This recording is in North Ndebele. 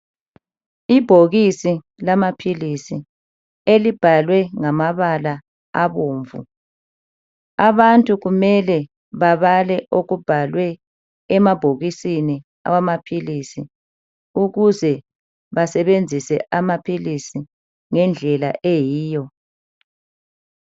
Ibhokisi lamaphilisi elibhalwe ngamabala abomvu abantu kumele babale okubhalwe emabhokisini amaphilisi ukuze basebenzise amaphilisi ngendlela eyiyo.